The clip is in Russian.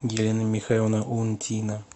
елена михайловна унтина